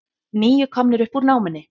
Níu komnir upp úr námunni